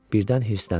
Birdən hirsləndi.